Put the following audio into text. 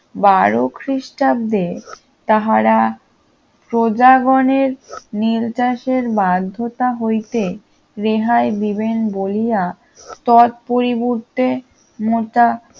বারো খ্রিস্টাব্দে তাহারা প্রজাগণে নির্দেশের বাধ্যতা হইতে রেহাই দিবেন বলিয়া তৎপরিবর্তে মোটা